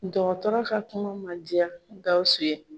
Dɔgɔtɔrɔ ka kuma man diya Gawusu ye.